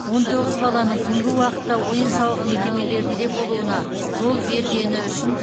он тоғыз баланың түнгі уақытта ойын сауық мекемелерінде болуына жол бергені үшін